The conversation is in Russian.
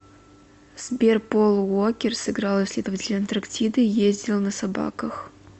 сбер пол уокер сыграл исследователя антарктиды ездил на собаках